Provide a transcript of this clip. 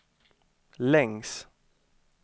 längs